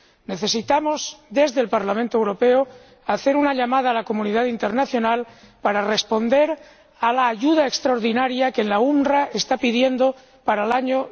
Necesitamos, desde el Parlamento Europeo, hacer una llamada a la comunidad internacional para responder a la ayuda extraordinaria que la UNRWA está pidiendo para el año